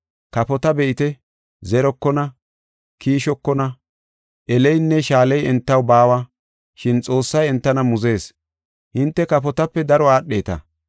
Kafota be7ite zerokona, kiishokona, eleynne shaaley entaw baawa. Shin Xoossay entana muzees. Hinte kafotape daro aadheta.